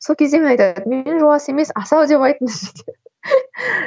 сол кезде мен жуас емес асау деп айтыңызшы деп